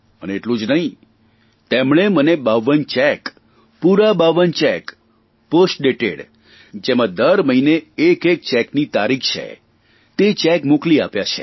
અને એટલું જ નહીં તેમણે મને બાવન ચેક પર પૂરા બાવન ચેક પોસ્ટ ડેટેડ જેમાં દર મહિને એક એક ચેકની તારીખ છે તે ચેક મોકલી આપ્યા છે